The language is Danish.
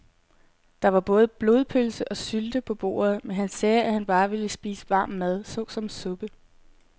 Der var både blodpølse og sylte på bordet, men han sagde, at han bare ville spise varm mad såsom suppe.